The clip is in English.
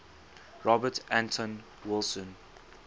robert anton wilson